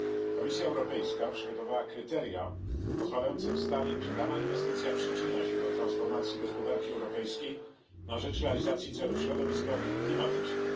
Komisja Europejska przygotowała kryteria pozwalające ustalić, czy dana inwestycja przyczynia się do transformacji gospodarki europejskiej na rzecz realizacji celów środowiskowych i klimatycznych.